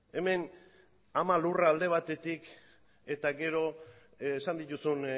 hemen ama lurra alde batetik eta gero esan dituzun